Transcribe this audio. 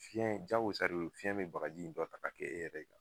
Fiɲɛ jagosa de y'o ye fiɲɛ be bagaji in dɔ ta ka kɛ e yɛrɛ kan